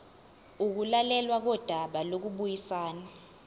ukulalelwa kodaba lokubuyisana